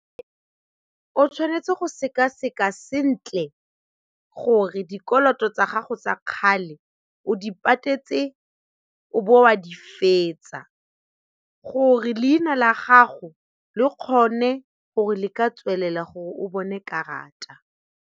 O tshwanetse go sekaseka sentle gore dikoloto tsa gago tsa kgale o di patetse o bo wa di fetsa gore leina la gago le kgone gore le ka tswelela gore o bone karata.